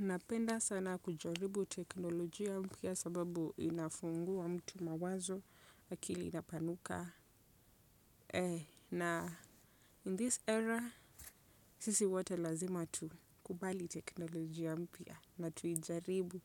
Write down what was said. Napenda sana kujaribu teknolojia mpya sababu inafungua mtu mawazo, akili inapanuka. Na 'in this era' sisi wote lazima tukubali teknolojia mpya na tuijaribu.